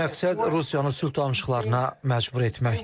Məqsəd Rusiyanı sülh danışıqlarına məcbur etməkdir.